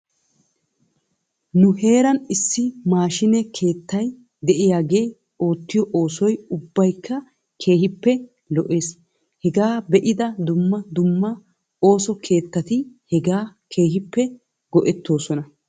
Nu heeran issi maashiine keettay de'iyaagee oottyo oosoy ubbaykka keehippe lo'es. Hegaa be'ida dumma dumma ooso keetati hegaa keehippe go'etoosona.